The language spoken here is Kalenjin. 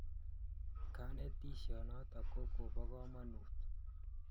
Kanetisiet notok ko kopo kamonut